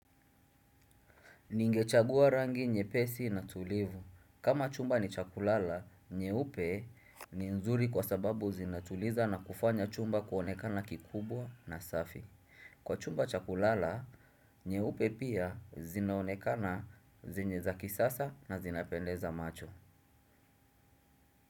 Ningechagua rangi nyepesi na tulivu. Kama chumba ni cha kulala nyeupe ni nzuri kwa sababu zinatuliza na kufanya chumba kuonekana kikubwa na safi. Kwa chumba cha kulala, nyeupe pia zinaonekana zenye za kisasa na zinapendeza macho.